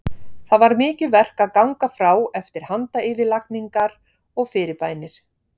Það var mikið verk að ganga frá eftir handayfirlagningar og fyrirbænir.